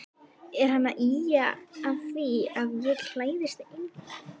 Er hann að ýja að því að ég klæðist engu?